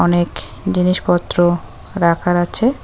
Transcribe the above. অনেক জিনিসপত্র রাখার আছে।